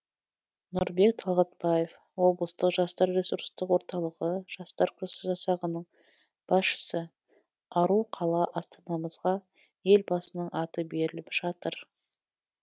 нұрбек талғатбаев облыстық жастар ресурстық орталығы жастар жасағының басшысы ару қала астанамызға елбасының аты беріліп жатыр